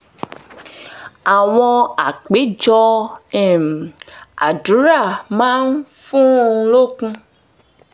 àwọn àpéjọ um àdúrà máa um ń fún un lókun